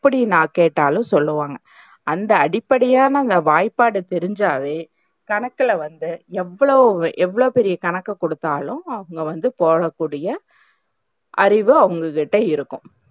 எப்டி நா கேட்டாலும் சொல்லுவாங்க. அந்த அடிப்படையான வாய்ப்பாடு தெரிஞ்சாவே கணக்குல வந்து எவ்ளோ எவ்ளோ பெரிய கணக்கு குடுத்தாலும் அவங்க வந்து போடக்கூடிய அறிவும் அவங்கள்ட இருக்கும்.